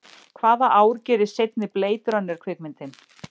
Hvaða ár gerist seinni Blade Runner kvikmyndin?